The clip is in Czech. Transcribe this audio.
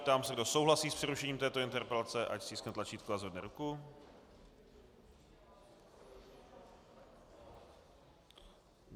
Ptám se, kdo souhlasí s přerušením této interpelace, ať stiskne tlačítko a zvedne ruku.